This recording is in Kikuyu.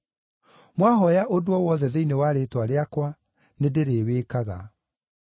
Mwahooya ũndũ o wothe thĩinĩ wa rĩĩtwa rĩakwa, nĩndĩrĩwĩkaga.